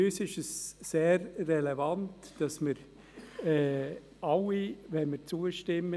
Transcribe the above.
Für uns ist sehr relevant, dass wir alle diese Punkte haben, wenn wir zustimmen.